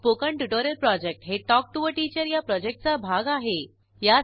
spoken tutorial project हे talk to teacher या प्रॉजेक्टचा भाग आहे